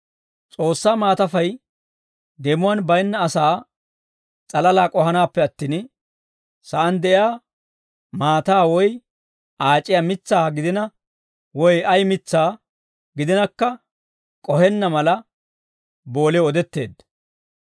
S'oossaa maatafay deemuwaan baynna asaa s'alalaa k'ohanaappe attin, sa'aan de'iyaa maataa woy aac'iya mitsaa gidina woy ay mitsaa gidinakka k'ohenna mala, boolew odetteedda.